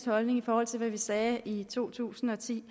holdning i forhold til hvad vi sagde i to tusind og ti